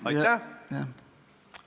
Aitäh!